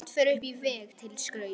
Sumt fer upp á vegg til skrauts.